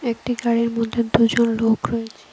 একটি গাড়ির মধ্যে দুজন লোক রয়েছে।